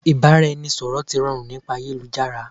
Ìbáraẹniṣọ̀rọ̀ ti rọrùn nípa ayélujára